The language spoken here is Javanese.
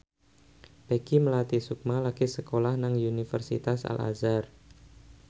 Peggy Melati Sukma lagi sekolah nang Universitas Al Azhar